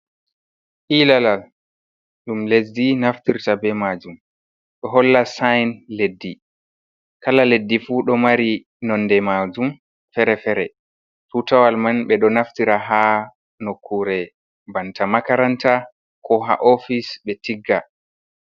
Hilalal dum lesdi naftirta be majum do holla sain leddi, kala leddi fu ɗo mari nonde majum fere-fere, tutawal man ɓe ɗo naftira ha nokure banta makaranta ko ha ofis be tigga,